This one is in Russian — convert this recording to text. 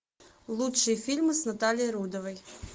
лучшие фильмы с натальей рудовой